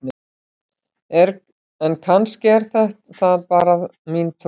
en kannski er það bara mín trú!